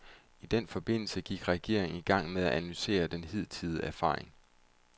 I den forbindelse gik regeringen i gang med at analysere de hidtidige erfaringer.